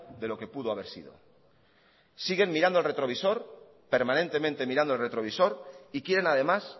de lo que pudo haber sido siguen mirando al retrovisor permanentemente mirando el retrovisor y quieren además